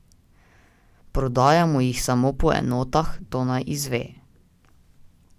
Prodajamo jih samo po enotah, to naj izve.